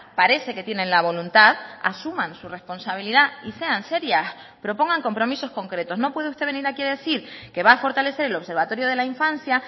parece que tienen la voluntad asuman su responsabilidad y sean serias propongan compromisos concretos no puede usted venir aquí a decir que va a fortalecer el observatorio de la infancia